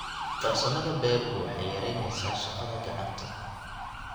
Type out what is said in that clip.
Farsamada beeruhu waxay yaraynaysaa shaqada gacanta.